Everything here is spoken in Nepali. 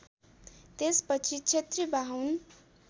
त्यसपछि क्षेत्री बाहुन